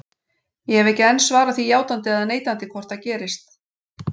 Ég hef ekki enn svarað því játandi eða neitandi hvort það gerist.